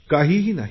काहीही नाही